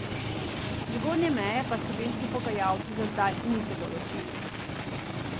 Zgornje meje pa slovenski pogajalci za zdaj niso določili.